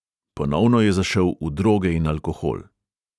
Ponovno je zašel v droge in alkohol.